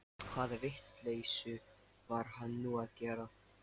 Hvaða vitleysu var hann nú að gera?